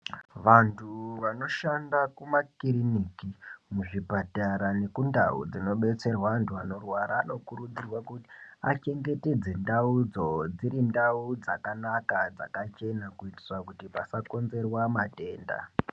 Vantu vanoshanda mumakirinika muzvipatara nemundau dzinobetserwa antu anorwara anokurudzirwa kuti achengetedzeka ndau dzo dzive ndau dzakana dzakachena kuitira kuti pasakonzerwa matenda.